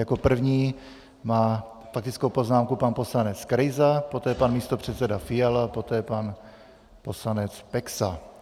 Jako první má faktickou poznámku pan poslanec Krejza, poté pan místopředseda Fiala, poté pan poslanec Peksa.